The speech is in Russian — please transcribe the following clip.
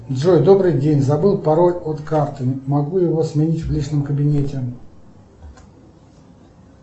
джой добрый день забыл пароль от карты могу его сменить в личном кабинете